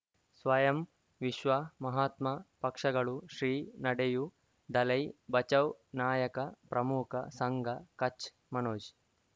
ಸ್ವಯಂ ವಿಶ್ವ ಮಹಾತ್ಮ ಪಕ್ಷಗಳು ಶ್ರೀ ನಡೆಯೂ ದಲೈ ಬಚೌ ನಾಯಕ ಪ್ರಮುಖ ಸಂಘ ಕಚ್ ಮನೋಜ್